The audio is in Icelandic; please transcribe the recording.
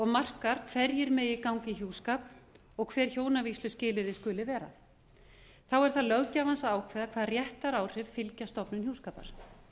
markar hverjir megi ganga í hjúskap og hver hjónavígsluskilyrði löggjafans skuli vera þá er það löggjafans að ákveða hvaða réttaráhrif fylgja stofnun hjúskapar